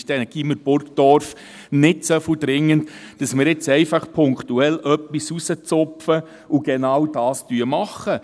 Ist denn das Gymnasium Burgdorf nicht so dringend, sodass wir jetzt punktuell etwas herauszupfen und genau dies machen?